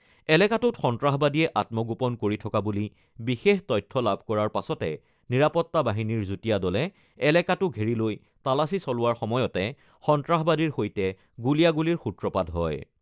এলেকাটোত সন্ত্ৰাসবাদীয়ে আত্মগোপন কৰি থকা বুলি বিশেষ তথ্য লাভ কৰাৰ পাছতে নিৰাপত্তা বাহিনীৰ যুটীয়া দলে এলেকাটো ঘেৰি লৈ তালাচী চলোৱাৰ সময়তে সন্ত্ৰাসবাদীৰ সৈতে গুলীয়াগুলীৰ সূত্ৰপাত হয়।